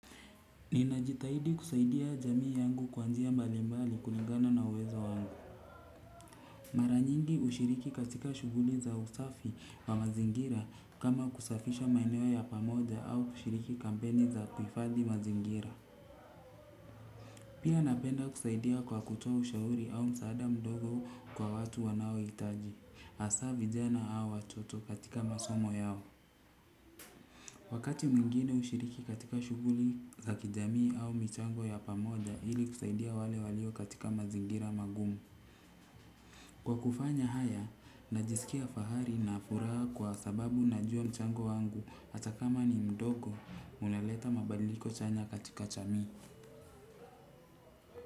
Ninajitahidi kusaidia jamii yangu kwa njia mbalimbali kulingana na uwezo wangu. Maranyingi hushiriki katika shughuli za usafi wa mazingira kama kusafisha maeneo ya pamoja au kushiriki kampeni za kuhifadhi mazingira. Pia napenda kusaidia kwa kutoa ushauri au msaada mdogo kwa watu wanaohitaji. Hasa vijana au watoto katika masomo yao. Wakati mwingine hushiriki katika shughuli za kijamii au michango ya pamoja ili kusaidia wale walio katika mazingira magumu. Kwa kufanya haya, najisikia fahari na furaha kwa sababu najua mchango wangu hata kama ni mdogo unaleta mabadiliko chanya katika jamii.